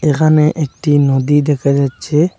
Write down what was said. এখানে একটি নদী দেখা যাচ্ছে।